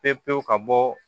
Pewu pewu ka bɔ